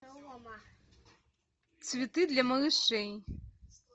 цветы для малышей